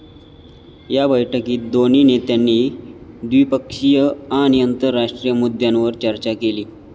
या बैठकीत दोन्ही नेत्यांनी द्विपक्षीय आणि आंतरराष्ट्रीय मुद्द्यांवर चर्चा केली.